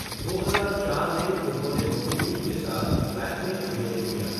दो हजार चार में उन्होंने ममूटी के साथ ब्लैक में अभिनय किया।